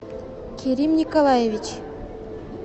керим николаевич